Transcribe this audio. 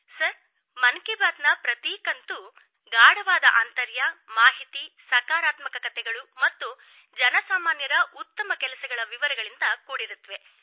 sir Mann Ki Baat ನ ಪ್ರತಿ ಕಂತು ಗಾಢವಾದ ಆಂತರ್ಯ ಮಾಹಿತಿ ಸಕಾರಾತ್ಮಕ ಕಥೆಗಳು ಮತ್ತು ಜನ ಸಾಮಾನ್ಯರ ಉತ್ತಮ ಕೆಲಸಗಳ ವಿವರಗಳಿಂದ ಕೂಡಿರುತ್ತದೆ